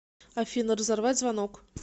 афина разорвать звонок